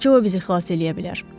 Təkcə o bizi xilas eləyə bilər.